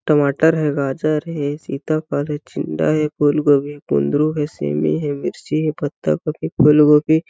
टमाटर हे गाजर हे सीताफल हे चिंडा हे फूलगोभी हे कुंदरू हे सेमी हे मिर्ची हे पत्तागोभी हे फूलगोभी--